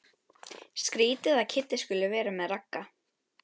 Skrýtið að Kiddi skuli vera með Ragga.